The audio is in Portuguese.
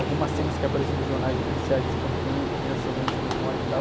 algumas cenas que apareciam nos jornais de policiais espancando, crianças também sendo mortas e tal.